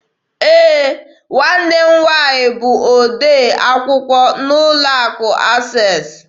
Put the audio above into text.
Ee, nwanne m nwaanyị bụ odee akwụkwọ n'ụlọ akụ Access.